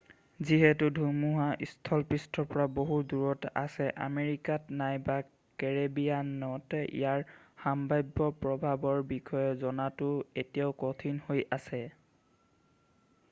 যিহেতু ধুমুহা স্থলপৃষ্ঠৰ পৰা বহু দূৰত আছে আমেৰিকাত নাইবা কেৰিবিয়ানত ইয়াৰ সম্ভাব্য প্ৰভাৱৰ বিষয়ে জনাটো এতিয়াও কঠিন হৈ আছে